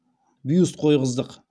бюст қойғыздық